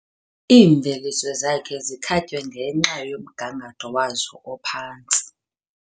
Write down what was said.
Iimveliso zakhe zikhatywe ngenxa yomgangatho wazo ophantsi.